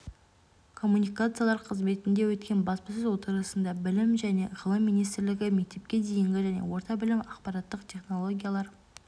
коммуникациялар қызметінде өткен баспасөз отырысында білім және ғылым министрлігі мектепке дейінгі және орта білім ақпараттық технологиялар